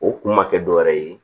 O kun ma kɛ dɔwɛrɛ ye